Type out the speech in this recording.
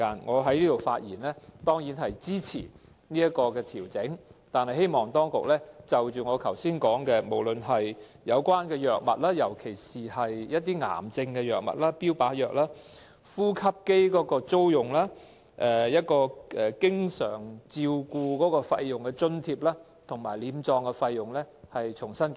我在此發言，當然是要支持有關的費用調整，但我希望當局重新進行檢討津助範圍，包括我剛才提及的藥物、呼吸機的租用、經常照顧費用的津貼和殮葬費等事宜。